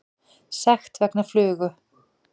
Sekt vegna flugu